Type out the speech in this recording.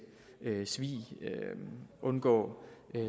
svig undgå